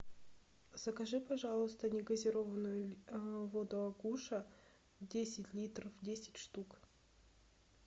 закажи пожалуйста негазированную воду агуша десять литров десять штук